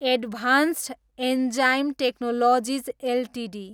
advanced enzyme technologies Ltd